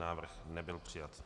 Návrh nebyl přijat.